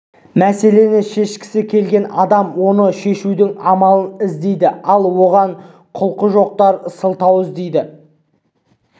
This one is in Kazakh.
мәселені шешкісі келген адам оны шешудің амалын іздейді ал оған құлқы жоқтар сылтау іздейді